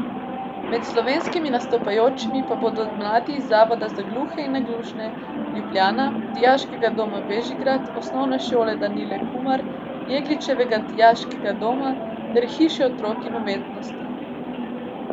Med slovenskimi nastopajočimi pa bodo mladi iz Zavoda za gluhe in naglušne Ljubljana, Dijaškega doma Bežigrad, Osnovne šole Danile Kumar, Jegličevega dijaškega doma ter Hiše otrok in umetnosti.